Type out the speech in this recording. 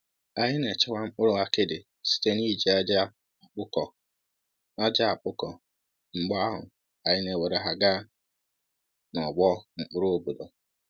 Anyị na-echekwa mkpụrụ akidi site n’iji aja akpụkọ, aja akpụkọ, mgbe ahụ, anyị na-ewere ha gaa n’ọgbọ mkpụrụ obodo.